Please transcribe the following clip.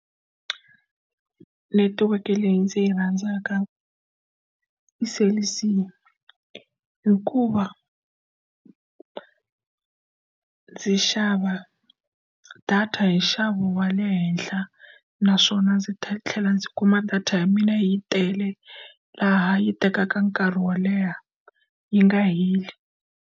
Netiweke leyi ndzi yi rhandzaka i cell_c hikuva ndzi xava data hi nxavo wa le henhla naswona ndzi ta tlhela ndzi kuma data ya mina yi tele laha yi tekaka nkarhi wo leha yi nga heli.